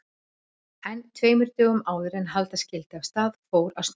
En tveimur dögum áður en halda skyldi af stað fór að snjóa.